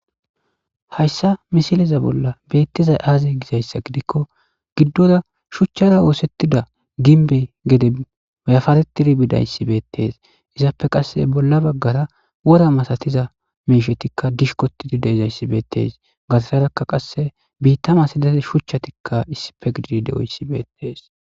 Hayssa misileza bolla beettizay aazey gizayssa gidikko giddora shuchchara oosettida ginbe gede ayafatetidi bidayssibeettees izaappe qasse bolla baggara wora masatiza meshetikka dishkotidi deizayssibeettees gatasarakka qasse biittama sidate shuchchatikka issife gididi de7oyssibeettees